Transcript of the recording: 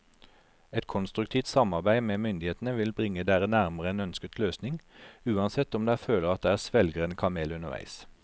Et konstruktivt samarbeid med myndighetene vil bringe dere nærmere en ønsket løsning, uansett om dere føler at dere svelger en kamel underveis.